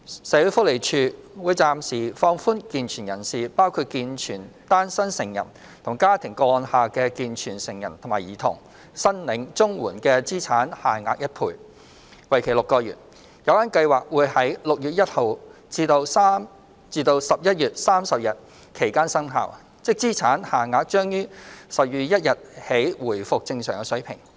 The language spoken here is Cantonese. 社會福利署會暫時放寬健全人士申領綜援的資產限額1倍，為期6個月。有關計劃會在6月1日至11月30日期間生效，即資產限額將於12月1日起回復正常水平。